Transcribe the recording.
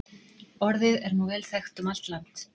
Orðið er nú vel þekkt um allt land.